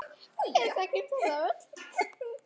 Við þekkjum þetta öll.